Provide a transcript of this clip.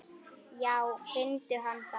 Já finndu hann þá!